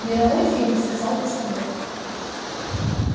мировой фильм сказал постовой